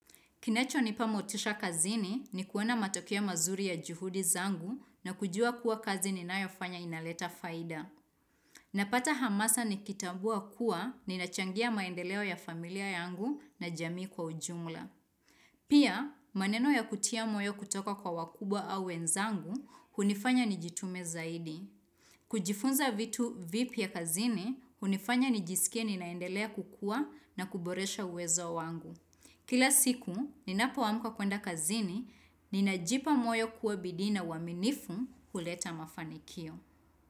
Kinachonipa motisha kazini ni kuona matokeo mazuri ya juhudi zangu na kujua kuwa kazi ninayofanya inaleta faida. Napata hamasa nikitambua kuwa ninachangia maendeleo ya familia yangu na jamii kwa ujumla. Pia, maneno ya kutia moyo kutoka kwa wakubwa au wenzangu, hunifanya nijitume zaidi. Kujifunza vitu vipya kazini, hunifanya nijisikie ninaendelea kukua na kuboresha uwezo wangu. Kila siku, ninapoamuka kwenda kazini, ninajipa moyo kuwa bidii na uaminifu huleta mafanikio.